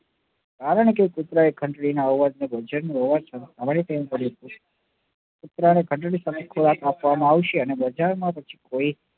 કારણ કે પુત્ર એ ઘંટડી નો પુત્ર ને ઘંટડી ખોરાક આપવા માં આવે ને બજાર માં પછી કોઈ